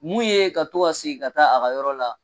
Mun ye ka to segin ka taa a ka yɔrɔ la.